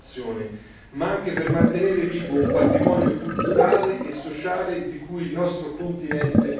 ma anche per mantenere vivo un patrimonio culturale e sociale di cui il nostro continente è ricco.